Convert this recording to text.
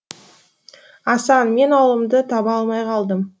асан мен ауылымды таба алмай қалдым